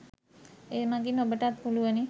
ඒ මඟින් ඔබටත් පුලුවනි.